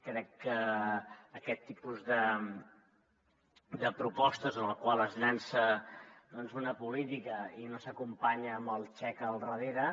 crec que aquest tipus de propostes en les quals es llança doncs una política i no s’acompanya amb el xec al darrere